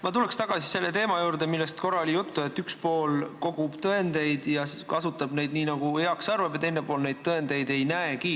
Ma tulen tagasi selle teema juurde, millest korra juttu oli, et üks pool kogub tõendeid ja kasutab neid, nagu heaks arvab, ja teine pool neid tõendeid ei näegi.